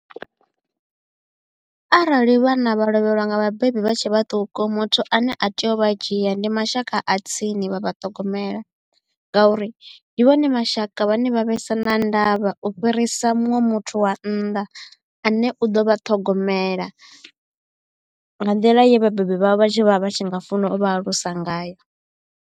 Arali vhana vha lovhelwa nga vhabebi vha tshe vhaṱuku muthu ane a tea u vha dzhia ndi mashaka a tsini vha vha ṱhogomela ngauri ndi vhone mashaka vhane vha vhesa na ndavha u fhirisa muṅwe muthu wa nnḓa ane u ḓo vha ṱhogomela nga nḓila ye vhabebi vhavho vha tshi vha vha tshi nga funa u vha alusa ngayo.